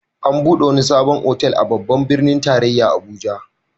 An buɗe wani sabon otal a Babban birnin tarayya Abuja.